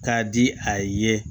K'a di a ye